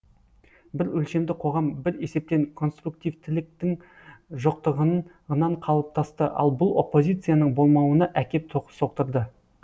бір өлшемді қоғам бір есептен конструктивтіліктің жоқтығынан қалыптасты ал бұл оппозицияның болмауына әкеп соқтырды